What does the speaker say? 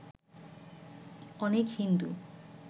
অনেক হিন্দু